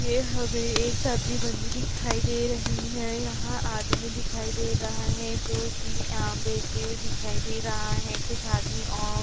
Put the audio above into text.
ये हमें एक सब्जी मंडी दिखाई दे रही हैं। यहाँ आदमी दिखाई दे रहा हैं जोकि आम बेचते हुए दिखाई दे रहा हैं। कुछ आदमी और --